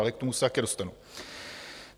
Ale k tomu se také dostanu.